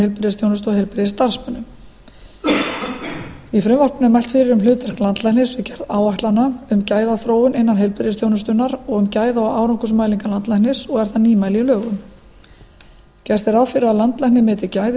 heilbrigðisþjónustu og heilbrigðisstarfsmönnum í frumvarpinu er mælt fyrir um hlutverk landlæknis og gerð áætlana um gæðaþróun innan heilbrigðisþjónustunnar og um gæða og árangursmælingar landlæknis og er það nýmæli í lögum gert er ráð fyrir að landlæknir meti gæði